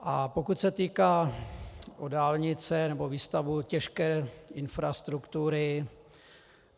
A pokud se týká dálnic nebo výstavby těžké infrastruktury.